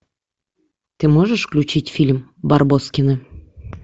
ты можешь включить фильм барбоскины